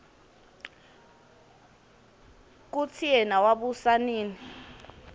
kutsi yena wabusa nini